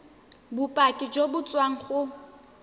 bopaki jo bo tswang go